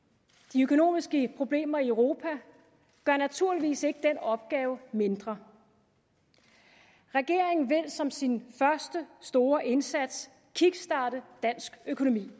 de økonomiske problemer i europa gør naturligvis ikke den opgave mindre regeringen vil som sin første store indsats kickstarte dansk økonomi